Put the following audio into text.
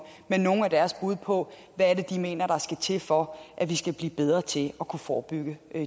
med nogle af deres bud på hvad de mener der skal til for at vi kan blive bedre til kunne forebygge